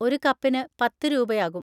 ഒരു കപ്പിന് പത്ത് രൂപയാകും.